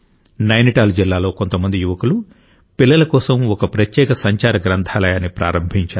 నైనిటాల్ జిల్లాలో కొంతమంది యువకులు పిల్లల కోసం ఒక ప్రత్యేక సంచార గ్రంథాలయాన్ని ప్రారంభించారు